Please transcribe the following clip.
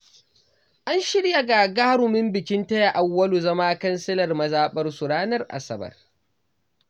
An shirya gagarumin bikin taya Auwalu zama kansilan mazaɓarsu ranar asabar.